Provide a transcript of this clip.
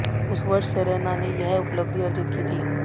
उस वर्ष सेरेना ने यह उपलब्धि अर्जित की थी